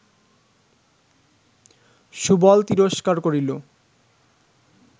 সুবল তিরস্কার করিল